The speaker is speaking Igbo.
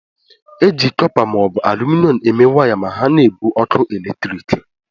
E ji kọpa ma ọ bụ aluminom eme waya ma ha na-ebu ọkụ eletrik.